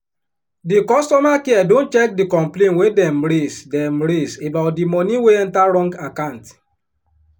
di customer care don check the complain wey dem raise dem raise about di money wey enter wrong account.